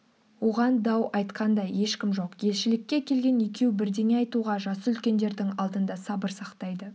оған дау айтқан да ешкім жоқ елшілікке келген екеу бірдеңе айтуға жасы үлкендердің алдында сабыр сақтайды